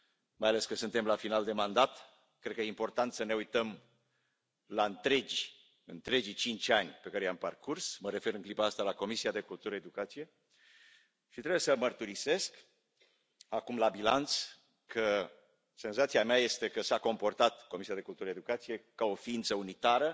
Mai ales că suntem la final de mandat, cred că e important să ne uităm la întregii cinci ani pe care i am parcurs mă refer în clipa asta la Comisia pentru cultură și educație și trebuie să mărturisesc acum, la bilanț, că senzația mea este că s a comportat Comisia pentru cultură și educație ca o ființă unitară,